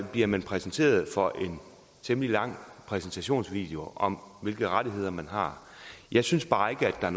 bliver man præsenteret for en temmelig lang præsentationsvideo om hvilke rettigheder man har jeg synes bare ikke at